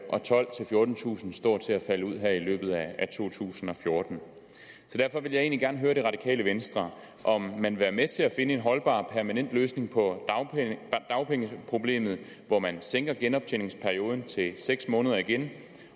og tolvtusind fjortentusind står til at falde ud her i to tusind og fjorten derfor ville jeg egentlig gerne høre det radikale venstre om man vil være med til at finde en holdbar permanent løsning på dagpengeproblemet hvor man sænker genoptjeningsperioden til seks måneder igen